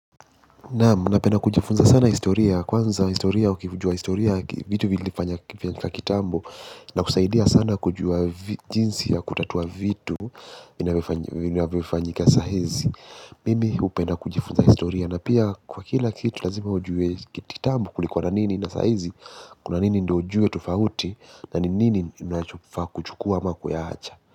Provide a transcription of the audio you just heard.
Naam na penda kujifunza sana historia kwanza historia ukijua historia vitu vilifanyaka kitambo na kusaidia sana kujua jinsi ya kutatua vitu vinavyofanyika sahizi. Mimi hupenda kujifunza historia na pia kwa kila kitu lazima ujue kitambo kulikuwa na nini na sahizi. Kuna nini ndo ujue tofauti na ni nini ninachofaa kuchukua ama kuya acha.